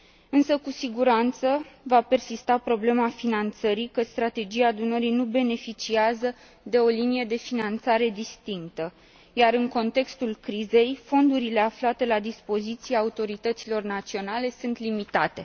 Însă cu siguranță va persista problema finanțării, căci Strategia Dunării nu beneficiază de o linie de finanțare distinctă, iar în contextul crizei, fondurile aflate la dispoziția autorităților naționale sunt limitate.